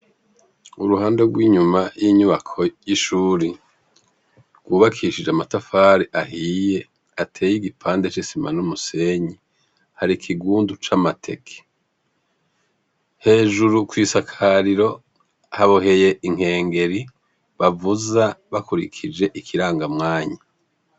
Kuruhande rw'inyuma y'inyubako y'ishure, rw'ubakishije n'amatafari ahiye, ateye igipande c'isima n'umusenyi, harikigundu c'amateke. Hejuru kw'isakariro haboheye inkengeri bavuza bakurikire ikiranga mwanya.